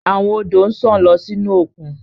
Awon odo nsan lọ sinu okun